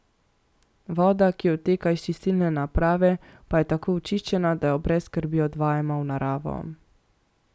Voda, ki odteka iz čistilne naprave pa je tako očiščena, da jo brez skrbi odvajamo v naravo.